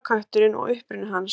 Jólakötturinn og uppruni hans.